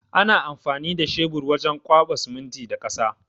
Ana amfani da cebur wajen kwaɓa siminti da ƙasa.